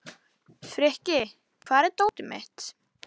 Frikki, hvar er dótið mitt?